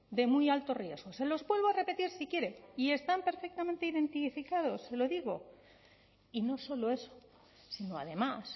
de muy alto riesgo se los vuelvo a repetir si quiere y están perfectamente identificados se lo digo y no solo eso sino además